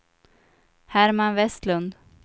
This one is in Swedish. Herman Vestlund